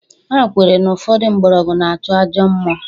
..Ha kwere na ụfọdụ mgbọrọgwụ na-achụ ajọ mmụọ.